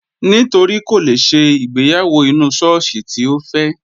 Nítorí kò lè ṣe ìgbéyàwó inú sọ́ọ́sì tí Ó fẹ́.